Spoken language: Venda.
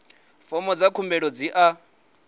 fomo dza khumbelo dzi a